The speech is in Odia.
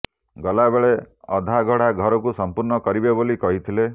ଗଲା ବେଳେ ଅଧାଗଢ଼ା ଘରକୁ ସମ୍ପୂର୍ଣ୍ଣ କରିବେ ବୋଲି କହିଥିଲେ